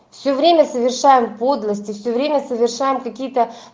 все время совершаем подлости все время совершаем какие-то